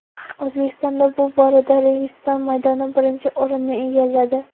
O‘zbekistonda bu borada Registon maydoni birinchi o‘rinni egalladi.